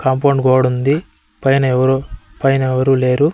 Compound గోడ ఉంది పైన ఎవరు పైన ఎవరూ లేరు.